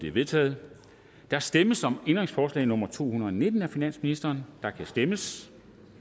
er vedtaget der stemmes om ændringsforslag nummer to hundrede og nitten af finansministeren og der kan stemmes